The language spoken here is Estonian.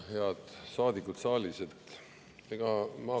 Head saadikud saalis!